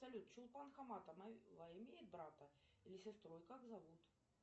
салют чулпан хаматова имеет брата или сестру и как зовут